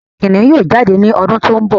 Kìnìún yóò jáde ní ọdún tó ń bọ̀